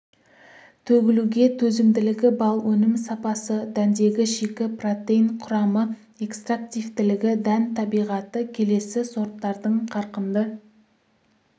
төгілуге төзімділігі балл өнім сапасы дәндегі шикі протеин құрамы экстрактивтілігі дән табиғаты келесі сорттардың қарқынды